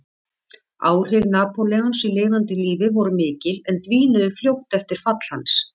Áhrif Napóleons í lifanda lífi voru mikil en dvínuðu fljótt eftir fall hans.